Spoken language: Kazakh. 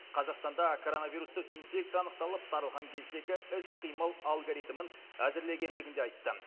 қазақстанда коронавирустық инфекция анықталып таралған кездегі іс қимыл алгоритмін әзірлегендігін де айтты